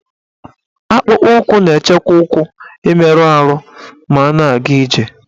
Akpụkpọụkwụ na-echekwa ụkwụ imerụ arụ ma a na-aga ije